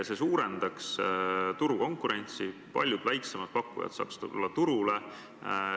See suurendaks turukonkurentsi, paljud väiksemad pakkujad saaks tulla turule.